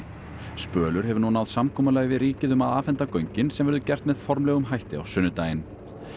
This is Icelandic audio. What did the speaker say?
spölur hefur nú náð samkomulagi við ríkið um að afhenda göngin sem verður gert með formlegum hætti á sunnudaginn